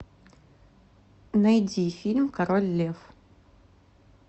найди фильм король лев